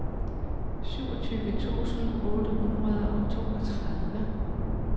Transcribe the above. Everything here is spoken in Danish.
syvogtyve tusind otte hundrede og toogtredive